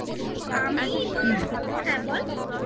আমি তো হুম হ্যাঁ বল